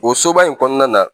O soba in kɔnɔna na.